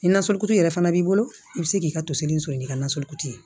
Ni nasalikutu yɛrɛ fana b'i bolo i bɛ se k'i ka toseri sɔrɔ n'i ka nasɔrɔli ye